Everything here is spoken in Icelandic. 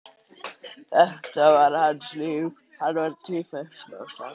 Þetta var hans líf, hann var tvífætt smásaga.